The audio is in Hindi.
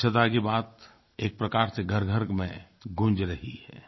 स्वच्छता की बात एक प्रकार से घरघर में गूंज रही है